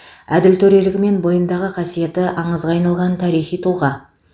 әділ төрелігі мен бойындағы қасиеті аңызға айналған тарихи тұлға